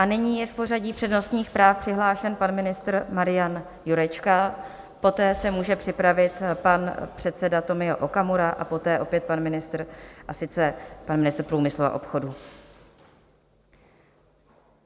A nyní je v pořadí přednostních práv přihlášen pan ministr Marian Jurečka, poté se může připravit pan předseda Tomio Okamura a poté opět pan ministr, a sice pan ministr průmyslu a obchodu.